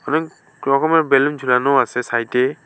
অনেক রকমের বেলুন ঝুলানো আসে সাইডে।